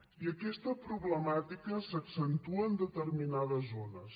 i aquesta problemàtica s’accentua en determinades zones